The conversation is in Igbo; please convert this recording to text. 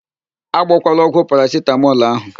A gbọkwala ọgwụ parasitamọl ahụ!